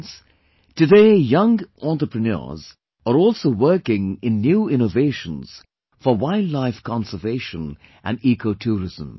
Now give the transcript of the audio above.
Friends, today young entrepreneurs are also working in new innovations for wildlife conservation and ecotourism